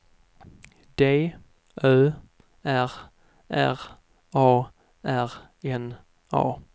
D Ö R R A R N A